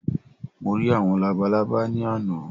Mo rí àwọn labalábá ní àná